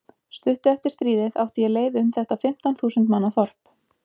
Stuttu eftir stríðið átti ég leið um þetta fimmtán þúsund manna þorp.